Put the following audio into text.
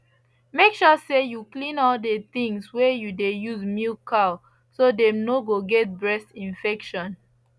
make sure say you clean all the things wey you dey use milk cow so dem no go get breast infection